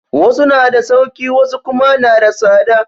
Wasu na da sauƙi wasu kuma na da tsada